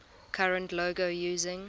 current logo using